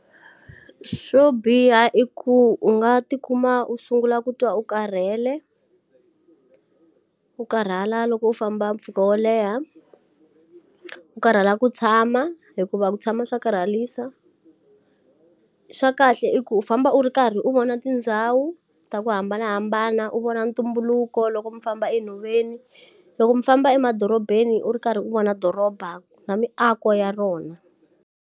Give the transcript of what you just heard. Swo biha i ku u nga ti kuma u sungula ku twa u karhele, u karhala loko u famba mpfhuka wo leha. U karhala ku tshama hikuva ku tshama swa karharisa. Swa kahle i ku u famba u ri karhi u vona tindhawu ta ku hambanahambana u vona ntumbuluko loko mi famba enhoveni, loko mi famba emadorobeni u ri karhi u vona doroba na miako ya rona.